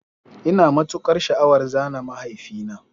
Ina matukar sha'awar zana mahaifina